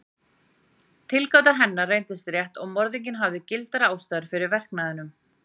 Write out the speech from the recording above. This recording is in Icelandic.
Tilgáta hennar reyndist rétt og morðinginn hafði gildar ástæður fyrir verknaðinum.